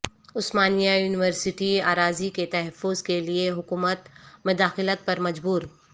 عثمانیہ university اراضی کے تحفظ کیلئے حکومت مداخلت پر مجبور